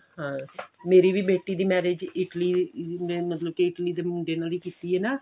ਹਾਂ ਮੇਰੀ ਵੀ ਬੇਟੀ ਦੀ marriage Italy ਦੇ ਮਤਲਬ ਕੀ Italy ਦੇ ਮੁੰਡੇ ਨਾਲ ਹੀ ਕੀਤੀ ਹੈ ਨਾ